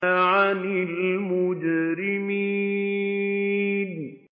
عَنِ الْمُجْرِمِينَ